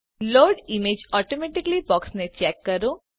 load images automatically બોક્સને check કરો